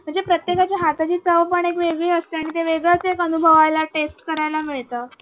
म्हणजे प्रत्येकाच्या हाताची चव पण एक वेगळी असते आणि ते वेगळेच एक अनुवायला taste करायला मिळते.